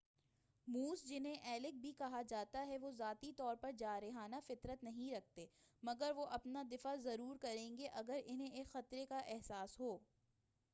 Moose جنہیں elk بھی کہا جاتا ہے وہ ذاتی طور پر جارحانہ فطرت نہیں رکھتے، مگر وہ اپنا دفاع ضرور کریں گے اگر اُنہیں ایک خطرے کا احساس ہو۔